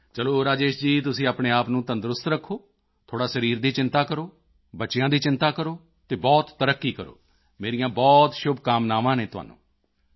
ਚਲੋ ਰਾਜੇਸ਼ ਜੀ ਤੁਸੀਂ ਆਪਣੇ ਆਪ ਨੂੰ ਤੰਦਰੁਸਤ ਰੱਖੋ ਥੋੜ੍ਹੀ ਸਰੀਰ ਦੀ ਚਿੰਤਾ ਕਰੋ ਬੱਚਿਆਂ ਦੀ ਚਿੰਤਾ ਕਰੋ ਅਤੇ ਬਹੁਤ ਤਰੱਕੀ ਕਰੋ ਮੇਰੀਆਂ ਬਹੁਤ ਸ਼ੁਭਕਾਮਨਾਵਾਂ ਹਨ ਤੁਹਾਨੂੰ